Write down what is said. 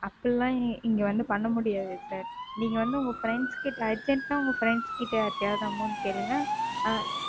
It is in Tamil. அப்படி எல்லாம் இங்க வந்து பண்ண முடியாது Sir. நீங்க வந்து உங்க Friends கிட்ட உங்க Friends கிட்ட யார்கிட்டயாவது Amount கேளுங்க ஆ,